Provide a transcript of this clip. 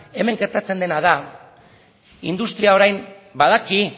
hemen gertatzen dena da industriak orain badaki